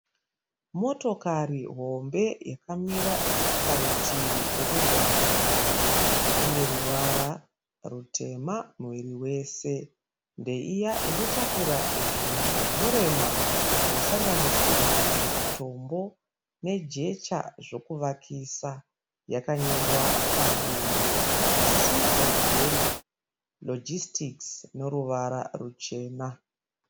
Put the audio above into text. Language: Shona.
Motokari hombe yakamira parutivi pomugwagwa. Ine ruvara rutema muviri wese. Ndeiya inotakura zvinhu zvinorema zvinosanganisira matombo nejecha zvokuvakisa. Yakanyorwa padumbu kuti C & J Logistics noruvara ruchena.